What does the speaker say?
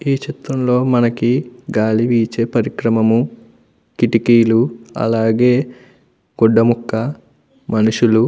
ఈ చిత్రం లో మనకి గాలి వీచే పరికరమము కిటికీలు అలాగే గుడ్డ ముక్క మనుషులు --